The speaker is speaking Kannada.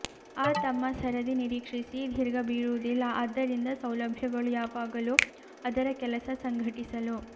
ಆ ತಮ್ಮ ಸರದಿ ನಿರೀಕ್ಷಿಸಿ ದೀರ್ಘ ಬೀರುವುದಿಲ್ಲ ಆದ್ದರಿಂದ ಸೌಲಭ್ಯಗಳು ಯಾವಾಗಲೂ ಅದರ ಕೆಲಸ ಸಂಘಟಿಸಲು